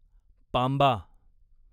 पांबा